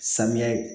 Samiya